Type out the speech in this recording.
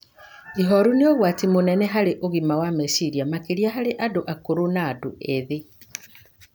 Ihooru nĩ ũgwati mũnene harĩ ũgima wa meciria, makĩria harĩ andũ akũrũ na andũ ethĩ.